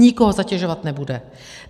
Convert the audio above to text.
Nikoho zatěžovat nebude.